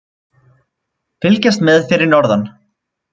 Fylgjast með fyrir norðan